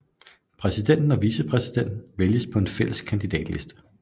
Præsidenten og vicepræsidenten vælges på en fælles kandidatliste